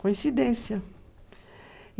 Coincidência.